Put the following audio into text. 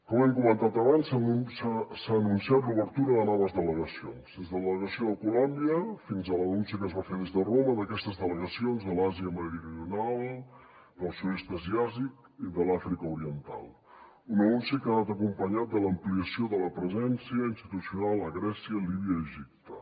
com hem comentat abans s’ha anunciat l’obertura de noves delegacions des de la delegació de colòmbia fins a l’anunci que es va fer des de roma d’aquestes delegacions de l’àsia meridional del sud est asiàtic i de l’àfrica oriental un anunci que ha anat acompanyat de l’ampliació de la presència institucional a grècia líbia i egipte